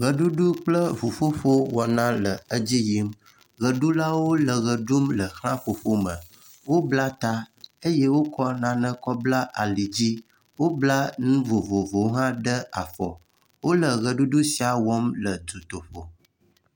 Ʋeɖuɖu kple ŋuƒoƒo wɔna le edzi yim, ʋeɖulawo le ʋe ɖum le ʋlaƒoƒo me, wobla ta eye wokɔ nane kɔbla li dzi, wobla nu vovovowo hã ɖe afɔ. Wole ʋeɖuɖu sia wɔm le dutoƒo.